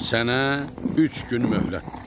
Sənə üç gün möhlətdir.